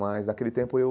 Mas naquele tempo eu